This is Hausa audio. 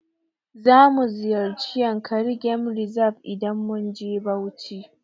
Zamu ziyarci yankari game reserve idan mun je Bauchi.